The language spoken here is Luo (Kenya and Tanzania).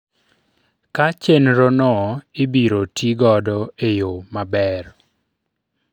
ka chenro no ibiro tigodo eyo maber